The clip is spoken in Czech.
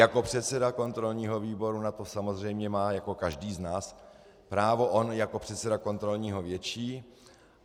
Jako předseda kontrolního výboru na to samozřejmě má jako každý z nás právo, on jako předseda kontrolního větší.